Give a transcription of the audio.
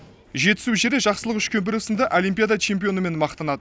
жетісу жері жақсылық үшкемпіров сынды олимпиада чемпионымен мақтанады